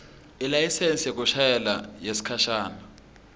ilayisensi yekushayela yesikhashana